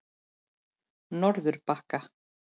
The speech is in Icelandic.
Norðurbakka